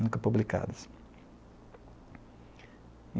Nunca publicadas.